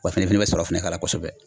Wa i fɛnɛ fɛnɛ bɛ sɔrɔ fɛnɛ k'a la kosɛbɛ